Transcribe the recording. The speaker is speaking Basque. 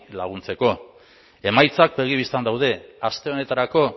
laguntzeko emaitzak begi bistan daude aste honetarako